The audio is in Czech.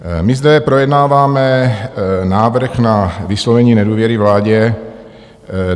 My zde projednáváme návrh na vyslovení nedůvěry vládě.